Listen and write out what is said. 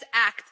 Let's act.